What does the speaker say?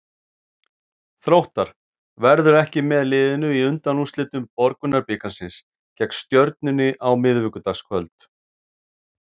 Hallur Hallsson, fyrirliði Þróttar, verður ekki með liðinu í undanúrslitum Borgunarbikarsins gegn Stjörnunni á miðvikudagskvöld.